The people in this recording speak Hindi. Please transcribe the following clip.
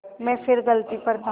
मैं फिर गलती पर था